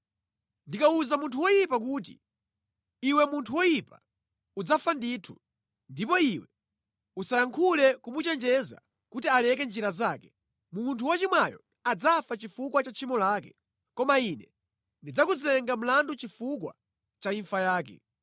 Ndikawuza munthu woyipa kuti, ‘Iwe munthu woyipa, udzafa ndithu,’ ndipo iwe osayankhula kumuchenjeza kuti aleke njira zake, munthu wochimwayo adzafa chifukwa cha tchimo lake, koma Ine ndidzakuyimba mlandu chifukwa cha imfa yake.